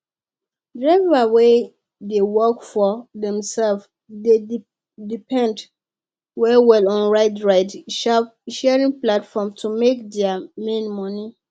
drivers wey dey work for themselves d depend well well on ride ride sharing platform to make their main money